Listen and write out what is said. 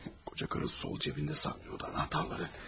Koca karı sol cibində saxlayırdı anahtarları.